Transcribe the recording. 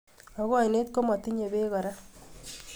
Ako oinet kimatinye beko kora